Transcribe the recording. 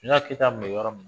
Sunjata Keyita kun bɛ yɔrɔ